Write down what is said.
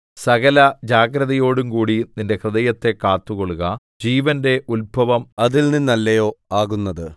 സകലജാഗ്രതയോടുംകൂടി നിന്റെ ഹൃദയത്തെ കാത്തുകൊള്ളുക ജീവന്റെ ഉത്ഭവം അതിൽനിന്നല്ലയോ ആകുന്നത്